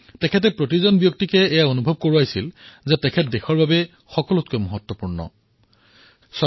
তেওঁ প্ৰত্যেক ব্যক্তিক এয়া অনুভৱ কৰাইছিল যে তেওঁ দেশৰ বাবে সকলোতকৈ গুৰুত্বপূৰ্ণ আৰু নিতান্তই আৱশ্যক